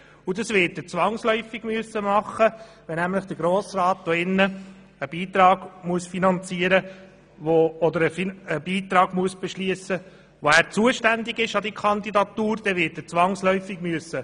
Das wird er zwangsläufig machen müssen, nämlich dann, wenn der Grosse Rat einen Beitrag an die Kandidatur beschliessen muss, für den er zuständig ist.